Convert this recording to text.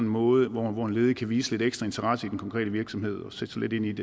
måde hvorpå en ledig kan vise lidt ekstra interesse i en konkret virksomhed og sætte sig lidt ind i